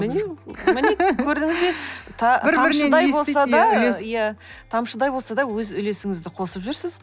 міне көрдіңіз бе тамшыдай болса да өз үлесіңізді қосып жүрсіз